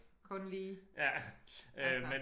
Kun lige altså